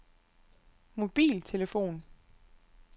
mobiltelefon